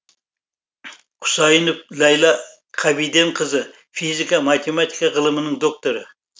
құсайынов ләйла қабиденқызы физика математика ғылымының докторы